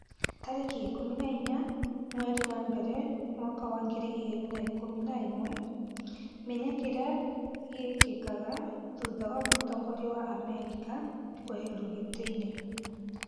tarĩki ikũmi na inya mweri wa mbere mwaka wa ngiri igĩrĩ na ikũmi na ĩmwe, menya kĩrĩa gĩkĩkaga thutha wa mũtongoria wa Amerika kũeherio gĩtĩ-inĩ